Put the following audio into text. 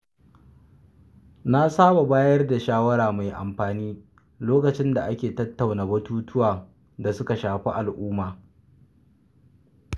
Na saba bayar da shawara mai amfani lokacin da ake tattauna batutuwan da suka shafi al’umma.